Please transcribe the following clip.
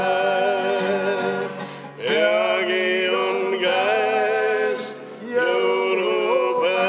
Peagi on käes jõulupäev.